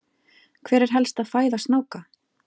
hver er helsta fæða snáka